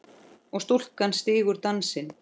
og stúlkan stígur dansinn